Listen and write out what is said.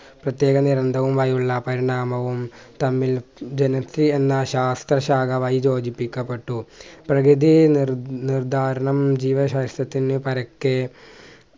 പ്രത്യേകം നിരന്തവുമായുള്ള പരിണാമവും തമ്മിൽ ശാസ്ത്രശാഖയുമായി യോജിപ്പിക്കപ്പെട്ടു പ്രകൃതി നിർ നിർദ്ധാരണം ജീവശാസ്‌ത്രത്തിന് പരക്കെ